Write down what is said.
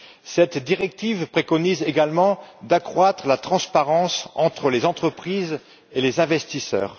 Cette directive préconise également d'accroître la transparence entre les entreprises et les investisseurs.